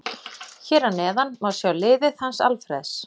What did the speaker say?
Hér að neðan má sjá liðið hans Alfreðs.